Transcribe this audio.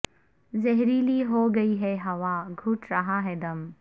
زہریلی ہو گئی ھے ہوا گھٹ رہا ھے دم